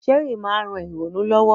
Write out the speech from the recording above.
Chess ma n ran ìrònú lowo